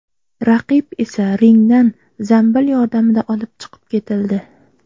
Raqib esa ringdan zambil yordamida olib chiqib ketildi.